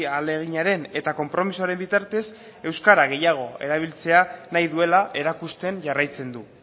ahaleginaren eta konpromisoaren bitartez euskara gehiago erabiltzea nahi duela erakusten jarraitzen du